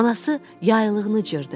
Anası yaylığını cırdı.